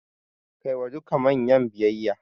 Kai wa duka manyan biyayya.